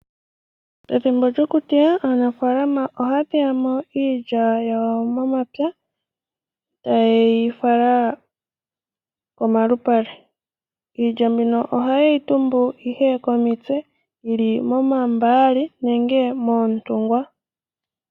Pethimbo lyokuteya aanafalama ohaya teyamo iilya yawo momapya ee taye yifala komalupale. Iilya mbino ohaye yi tumbu ihe komitse yili moomambali nenge moontungwa.